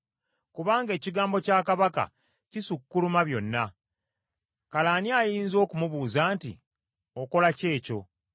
Kubanga ekigambo kya kabaka kisukkuluma byonna; kale ani ayinza okumubuuza nti, “Okola ki ekyo?”